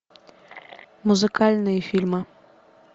музыкальные фильмы